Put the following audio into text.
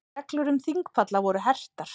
Reglur um þingpalla voru hertar